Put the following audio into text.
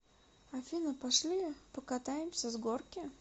афина пошли покатаемся с горки